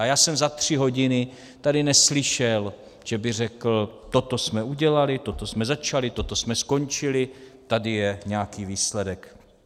A já jsem za tři hodiny tady neslyšel, že by řekl: Toto jsme udělali, toto jsme začali, toto jsme skončili, tady je nějaký výsledek.